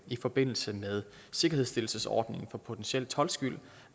i forbindelse med sikkerhedsstillelsesordningen for potentiel toldskyld